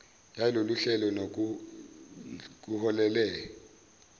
yalolu hlelo nokuholele